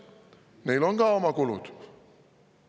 Neil on ka oma kulud.